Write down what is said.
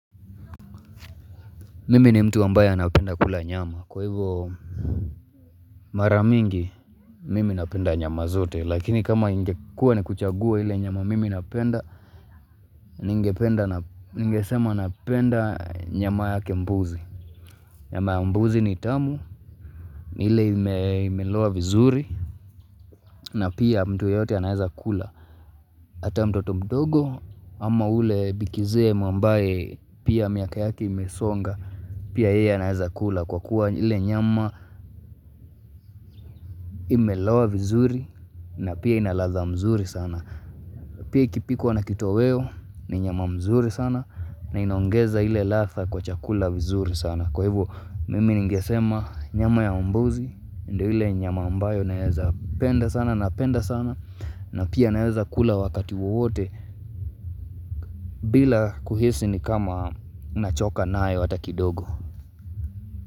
Mimi ni mtu ambaye anapenda kula nyama kwa hivyo Mara mingi mimi napenda nyama zote lakini kama ingekua ni kuchagua ile nyama mimi napenda Ningesema napenda nyama yake mbuzi Nyama ya mbuzi ni tamu ni ile imeloa vizuri na pia mtu yeyote anaeza kula Hata mtoto mdogo ama ule bikizee ambaye pia miaka yake imesonga Pia yeye anaeza kula kwa kuwa ile nyama Imelowa vizuri na pia ina ladha mzuri sana Pia ikipikwa na kitoweo ni nyama mzuri sana na inaongeza ile ladha kwa chakula vizuri sana Kwa hivo mimi ningesema nyama ya mbuzi ndio ile nyama ambayo naeza penda sana napenda sana na pia naeza kula wakati wowote bila kuhisi ni kama nachoka nayo ata kidogo.